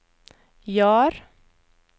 Jar